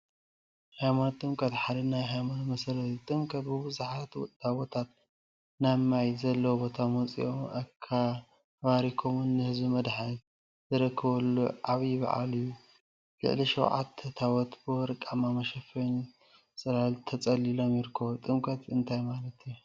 ሃይማኖት ጥምቀት ሓደ ናይ ሃይማኖት መሰረት እዩ፡፡ ጥምቀት ቡዙሓት ታቦታት ናብ ማይ ዘለዎ ቦታ ወፂኦምን አባሪኮምን ንህዝቢ መድሓኒት ዝረክብሉ ዓብይ በዓል እዩ፡፡ ልዕሊ ሸውዓተ ታቦት ብወርቃማ መሸፈኒን ፅላልን ተፀሊሎም ይርከቡ፡፡ ጥምቀት እንታይ ማለት እዩ?